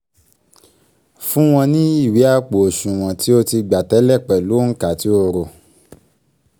fún wọn ní ìwé àpò òṣùwọ̀n tí ó ti gba tẹ́lẹ̀ pẹ̀lú òǹkà tí o rò